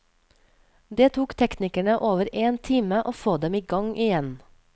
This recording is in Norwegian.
Det tok teknikerne over en time å få dem i gang igjen.